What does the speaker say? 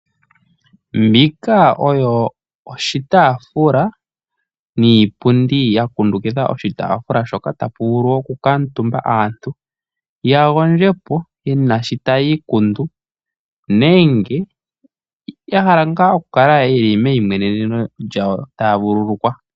Mbika oyo oshitafula niipundi yakundukitha oshitafula shoka tapu vulu oku kamutumba aantu yagondjepo, yena shi tayi ikundu nenge yahala nga oku kala yeli meyi mweneneno taya vululukwa.